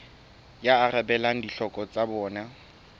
e arabelang ditlhoko tsa bona